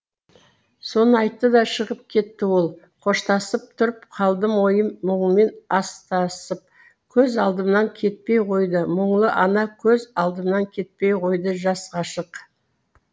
соны айтты да шығып кетті ол қоштасып тұрып қалдым ойым мұңмен астасып көз алдымнан кетпей қойды мұңлы ана көз алдымнан кетпей қойды жас ғашық